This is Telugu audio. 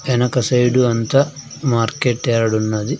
వెనక సైడ్ అంతా మార్కెట్ యార్డ్ ఉన్నది.